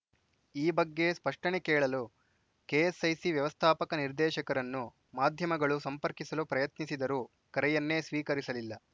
ಈ ಬಗ್ಗೆ ಸ್ಪಷ್ಟನೆ ಕೇಳಲು ಕೆಎಸ್‌ಐಸಿ ವ್ಯವಸ್ಥಾಪಕ ನಿರ್ದೇಶಕರನ್ನು ಮಾಧ್ಯಮಗಳು ಸಂಪರ್ಕಿಸಲು ಪ್ರಯತ್ನಿಸಿದರೂ ಕರೆಯನ್ನೇ ಸ್ವೀಕರಿಸಲಿಲ್ಲ